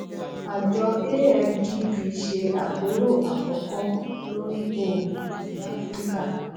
àjọ afdb se àpérò àkọkọ lórí òògùn ní áfíríkà